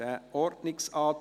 Abstimmung